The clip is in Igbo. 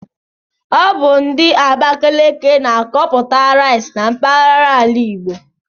Ọ bu ndi Abakaliki na-akọputa rice na mpaghara ala Igbo